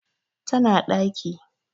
tana ɗaki